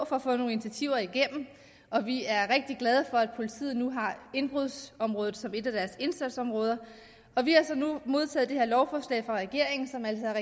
for at få nogle initiativer igennem og vi er rigtig glade for at politiet nu har indbrudsområdet som et af deres indsatsområder vi har så nu modtaget det her lovforslag fra regeringen som altså